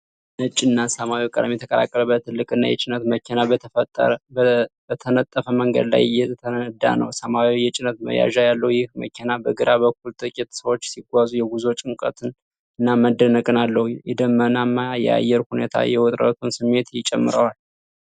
ነጭና ሰማያዊ ቀለም የተቀላቀለበት፣ ትልቅና የጭነት መኪና በተነጠፈ መንገድ ላይ እየነዳ ነው። ሰማያዊ የጭነት መያዣ ያለው ይህ መኪና፣ በግራ በኩል ጥቂት ሰዎች ሲታዩ፣ የጉዞ ጭንቀትን እና መደነቅን አለው። የደመናማ የአየር ሁኔታ የውጥረቱን ስሜት ይጨምረዋል።